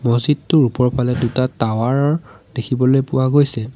মহজিদটোৰ ওপৰফালে দুটা টাৱাৰ দেখিবলৈ পোৱা গৈছে।